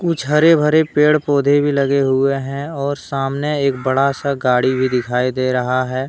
कुछ हरे भरे पेड़ पौधे भी लगे हुए हैं और सामने एक बड़ा सा गाड़ी भी दिखाई दे रहा हैं।